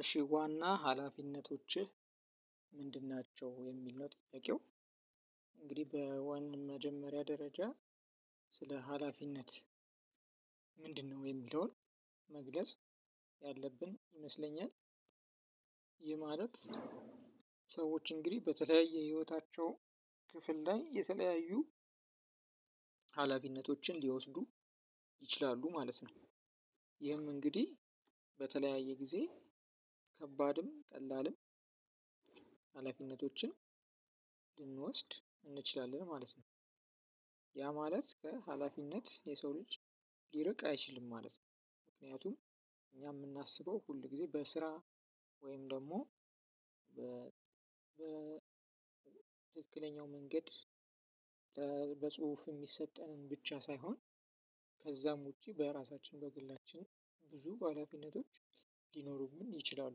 እሺ ዋና ሀላፊነቶችህ ምንድን ናቸው የሚል ነው ጥያቄው? እንግዲህ በዋን መጀመሪያ ደረጃ ስለ ሀላፊነት የሚለውን መግለጽ ያለብን ይመስለኛል። ይህ ማለት ሰዎች እንግዲህ በተለያየ የሂወታቸው ክፍል ላይ የተለያዩ ሃላፊነቶችን ሊወስዱ ይችላሉ ማለት ነው። ይህም እንግዲህ በተለያየ ጊዜ ከባድም ቀላልም ሀላፊነቶችን እንችላለን ማለት ነው። ያ ማለት ከሀላፊነት የሰው ልጅ ሊርቅ አይችልም ማለት ነው። ምክንያቱም እኛ የምናስበው ሁል ጊዜ በስራ ወይም ደግሞ በትክክለኛው መንገድ በጽሁፍ የሚሰጠንን ብቻ ሳይሆን ከዛም ውጪ በራሳችን በግላችን ብዙ ሀላፊነቶች ሊኖሩብን ይችላሉ።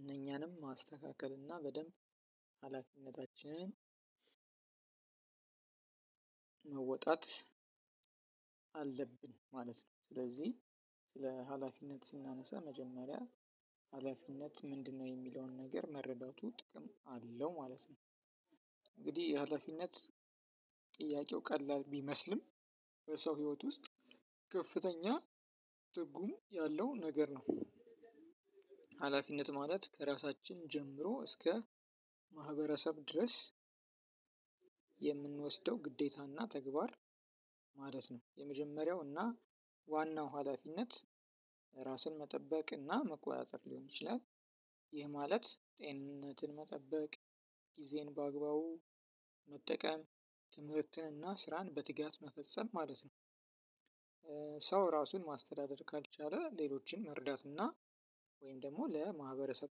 እኛንም ማስተካከል እና በደንብ ሀላፊነታችንንም መወጣት አለብን ማለት ነው። ስለዚህ ስለ ሀላፊነት ስናነሳ መጀመርያ ሀላፊነት ምንድን የሚለውን ነገር መረዳቱ ጥቅም አለው ማለት ነው። ማለት ጥያቄው ቀላል ቢመስልም በሰው ህይወት ውስጥ ከፍተኛ ትርጉም ያለው ነገር ነው። ሀላፊነት ማለት ከራሳችን ጀምሮ እስከ ማህበረሰብ ድረስ የምንወስደው ግዴታና ተግባር ማለት ነው። የመጀመሪያው እና ዋናው ሀላፊነት ራስን መጠበቅ እና መቆጣጠር ሊሆን ይችላል ይህ ማለት ጤንነትን መጠበቅ ግዜን በአግባቡ መጠቀም ትምህርትን እና ስራን በትጋት መፈጸም ማለት ነው። ሰው ራሱን ማስተዳደር ካልቻለ ሌሎችን መርዳት እና ወይንም ደግሞ ለማህበረሰብ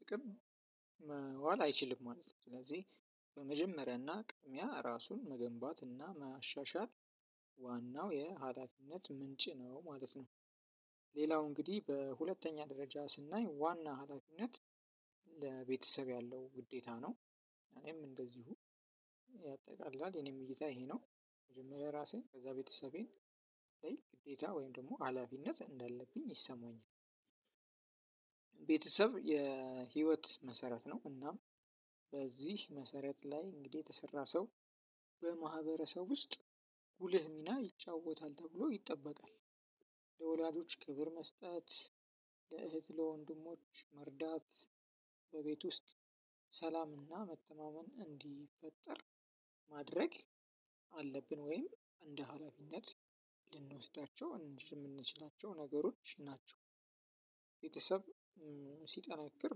ጥቅም መዋል አይችልም ማለት ነው ስለዚህ። በመጀመሪያና ቅሚያ ራሱን መገንባት እና ማሻሻል ዋናው የሀላፊነት ምንጭ ነው ማለት ነው። ሌላው እንግዲህ በሁለተኛ ደረጃ ስናይ ዋና ሀላፊነት ለቤተሰብ ያለው ግዴታ ነው። እኔም እንደዚሁ ያጠቃላል እኔም እይታ ይሄ ነው መጀመሪያ ራሴን ከዛ ቤተሰቤን ግዴታ ወይም ደግሞ ሀላፊነት እንዳለብኝ ይሰማኛል። ቤተሰብ የህይወት መሰረት ነው እና በዚህ መሰረት ላይ እንግዲህ የተሰራ ሰው በማህበረሰብ ውስጥ ጉልህ ሚና ይጫወታል ተብሎ ይጠበቃል። ለወላጆች ክብር መስጠት ለእህት ለወንድሞች መርዳት በቤት ውስጥ ሰላምና መተማመን እንዲፈጠር ማድረግ አለብን ወይም እንደ ሀላፊነት እንድንወስዳቸው የምንችላቸው ነገሮች ናቸው። ቤተሰብ ሲጠነክር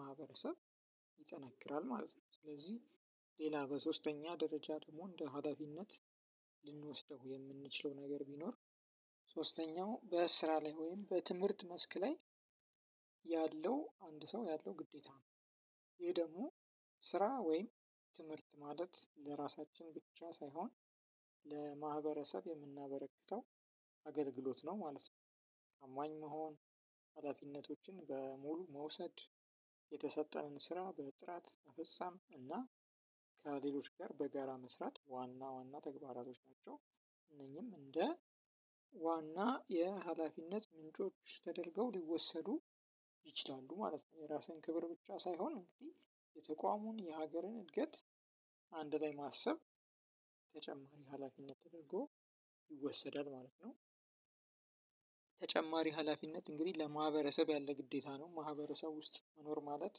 ማህበረሰብ ይጠነክራል ማለት ነው። ስለዚህ ሌላ በሶስተኛ ደረጃ ደግሞ እንደ ሀላፊነት ልንወስደው የምንችለው ነገር ቢኖር ሶስተኛው በስራ ላይ ወይም በትምህርት መስክ ላይ ያለው አንድ ሰው ያለው ግዴታ ነው። ይሄ ደግሞ ስራ ወይም ትምህርት ማለት ለራሳችን ብቻ ሳይሆን ለማህበረሰብ የምናበረክተው አገልግሎት ነው ማለት ነው። አማኝ መሆን ሀላፊነቶችን በሙሉ መውሰድ የተሰጠንን ስራ በጥራት መፈጻም እና ከሌሎች ጋር በጋራ መስራት ዋና ዋና ተግባራቶች ናቸው። እነኚህም እንደ ዋና የሀላፊነት ምንጮች ተደርገው ሊወሰዱ ይችላሉ ማለት ነው። የራስህን ክብር ብቻ ሳይሆን እንግዲህ የተቋሙን የሀገርን እድገት አንድ ላይ ማሰብ ተጨማሪ ሀላፊነት ተደርጎ ይወሰዳል ማለት ነው። ተጨማሪ ሀላፊነት እንግዲህ ለማህበረሰብ ያለ ግዴታ ነው ማህበረሰብ ውስጥ መኖር ማለት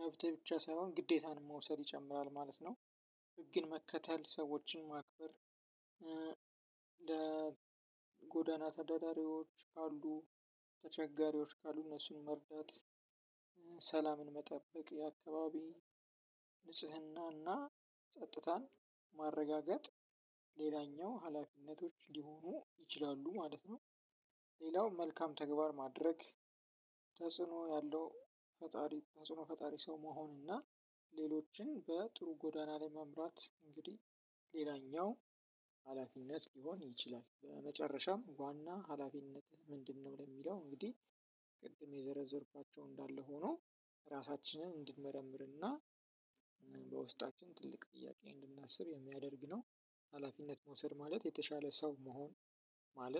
መብት ብቻ ሳይሆን ግዴታን መውሰድ ይጨምራል ማለት ነው። ህግን መከተል ሰዎችን ማክበር ለጎዳና ተዳዳሪዎች አሉ ተቸጋሪዎች ካሉ እነሱን መርዳት ሰላምን መጠበቅ የአካባቢ ንጽህናና ጸጥታን ማረጋገጥ ሌላኛው ሀላፊነቶች ሊሆኑ ይችላሉ ማለት ነው። ሌላው መልካም ተግባር ማድረግ ተጽኖ ያለው ተጽኖ ፈጣሪ ሰው መሆን እና ሌሎችን በጥሩ ጎዳና ለመምራት እንግዲህ ሌላኛው ሀላፊነት ሊሆን ይችላል። በመጨረሻም ዋና ሀላፊነት ምንድነው ለሚለው እንግዲህ ቅድም የዘረዘርኳቸው እንዳለ ሆኖ ራሳችንን እንድንመረምርና በውስጣችን ትልቅ ጥያቄ እንድናስብ የሚያደርግ ነው። ሀላፊነት መውሰድ ማለት የተሻለ ሰው መሆን ማለት